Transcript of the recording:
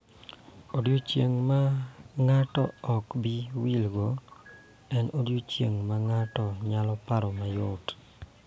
Odiechieng� ma ng�ato ok bi wilgo en odiechieng� ma ng�ato nyalo paroe mayot .